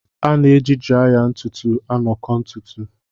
A na-eji draya ntutu aṅakọ ntutu.